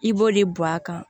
I b'o de bɔ a kan